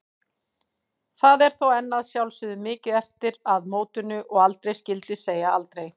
Það er þó enn að sjálfsögðu mikið eftir að mótinu og aldrei skyldi segja aldrei.